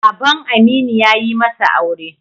Baban Aminu ya yi masa aure.